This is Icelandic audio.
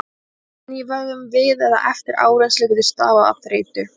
Stífni í vöðvum við eða eftir áreynslu getur stafað af þreytu.